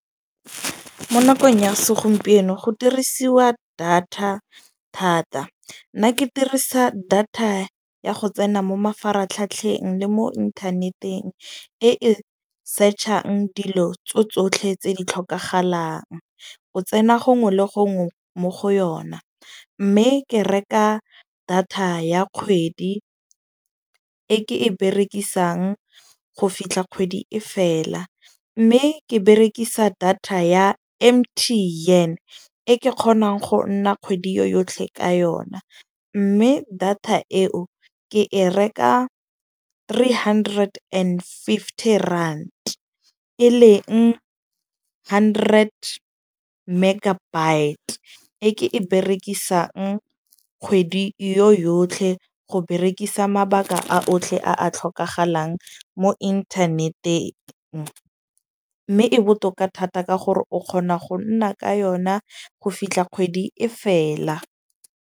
Mo nakong ya segompieno go dirisiwa data thata. Nna ke dirisa data ya go tsena mo mafaratlhatlheng le mo inthaneteng. E e search-ang dilo tso tsotlhe tse di tlhokagalang. O tsena gongwe le gongwe mo go yona. Mme ke reka data ya kgwedi e ke e berekisang go fitlha kgwedi e fela. Mme ke berekisa data ya M_T_N e ke kgonang go nna kgwedi yo yotlhe ka yona. Mme data eo ke e reka three hundred and fifty rand, e leng hundred megabyte. E ke e berekisang kgwedi yo yotlhe go berekisa mabaka a otlhe a a tlhokagalang mo internet-eng. Mme e botoka thata ka gore o kgona go nna ka yona go fitlha kgwedi e fela.